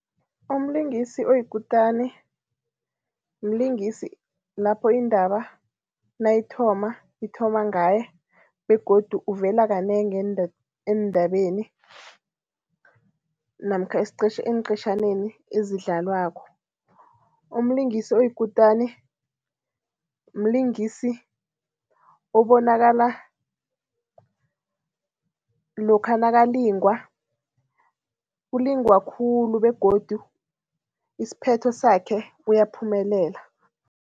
Umlingisi oyikutani mlingisi lapho indaba nayithoma, ithoma ngaye begodu uvela kanengi eendabeni namkha eenqetjhaneni ezidlalwako. Umlingisi oyikutani mlingisi obonakala lokha nakalingwa, ulingwa khulu begodu isiphetho sakhe uyaphumelela.